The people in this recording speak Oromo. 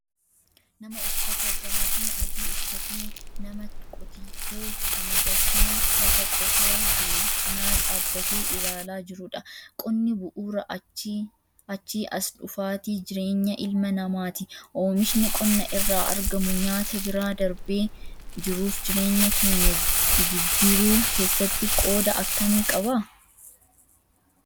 Nama uffata gaabii adii uffatee nama qotiyyoo camadatee lafa qotaa jiru cinaa dhaabbatee ilaalaa jirudha. Qonni bu'uura achii as dhufaatii jireenya ilma namaati. Oomishni qonna irraa argamu nyaata bira darbee jiruuf jireenya keenya jijjiirruu keessatti qooda akkamii qaba?